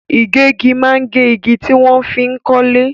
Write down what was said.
Igegi maa n ge igi tí wọ́n fi n kọ́lé.